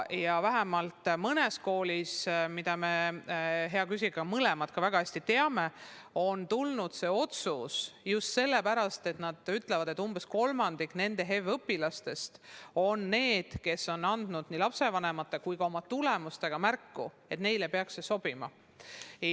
Ja vähemalt mõnes koolis, nagu me, hea küsija, mõlemad väga hästi teame, on tehtud see otsus just sellepärast, et nad ütlevad, et umbes kolmandik nende HEV‑õpilastest on andnud nii lapsevanematele kui ka oma tulemustega märku, et neile peaks see sobima.